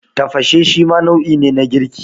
Tafashe shima nau'i ne na girki.